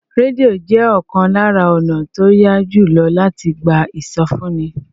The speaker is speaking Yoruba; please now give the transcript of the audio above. Rédíò jẹ́ ọ̀kan lára ọ̀nà tó yá jù lọ láti gba ìsọfúnni